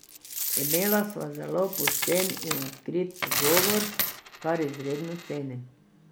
Imela sva zelo pošten in odkrit pogovor, kar izredno cenim.